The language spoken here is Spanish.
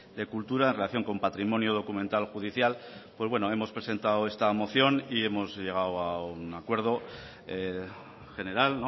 de cultura en relación con patrimonio documental judicial pues bueno hemos presentado esta moción y hemos llegado a un acuerdo general